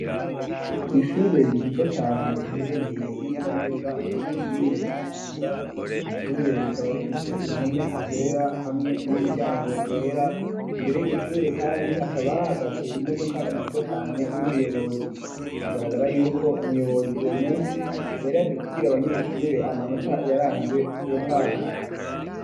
Kw'shure ryiza cane riherereye nezo na neza muri komine kayanza iryo shure rikaba rifise impome zera hamwe n'umuryango wera imbere yiryo shure kandi hakaba hahagaze imodoka nziza cane y'umuyobozi bigaragara yuko umuyobozi uwo munsi yari yaje kubwira abanyeshure amanota yaranze uwo mwaka